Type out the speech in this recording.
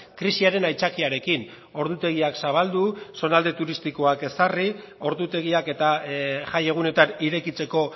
krisiaren aitzakiarekin ordutegiak zabaldu zonalde turistikoak ezarri ordutegiak eta jai egunetan irekitzeko